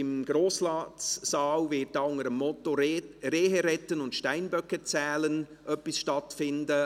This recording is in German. Im Grossratsaal wird ab 18 Uhr unter dem Motto «Rehe retten und Steinböcke zählen» etwas stattfinden.